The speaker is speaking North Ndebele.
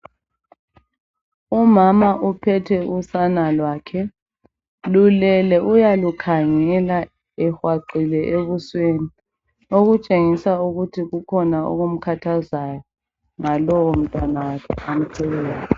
Umama uphethe usana lwakhe. Lulele uyalukhangela ehwaqile ebusweni. Okutshengisa ukuthi kukhona okumkhathazayo ngalowo mtanakhe amthweleyo.